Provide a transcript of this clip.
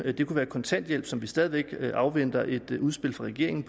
at det kunne være kontanthjælp som vi stadig væk afventer et udspil fra regeringen